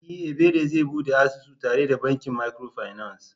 E! Ebere zai bude asusu tare da bankin micro finance.